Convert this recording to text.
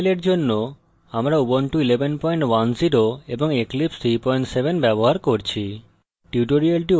এই tutorial জন্য আমরা ubuntu 1110 এবং eclipse 37 ব্যবহার করছি